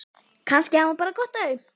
Kannski hafði hún bara gott af því.